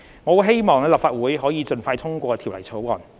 我希望立法會可以盡快通過《條例草案》。